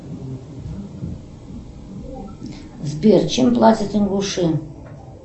сбер чем платят ингуши